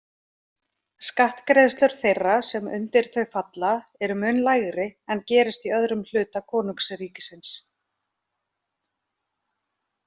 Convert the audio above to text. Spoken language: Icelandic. Skattgreiðslur þeirra sem undir þau falla eru mun lægri en gerist í öðrum hluta konungsríkisins.